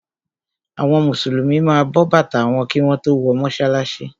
Àwọn Mùsùlùmí ma bọ bàtà wọn kí wọ́n tó wọ mọ́sálásí.